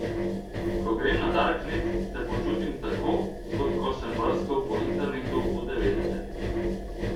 Ko grem na darknet, se počutim tako, kot ko sem brskal po internetu v devetdesetih.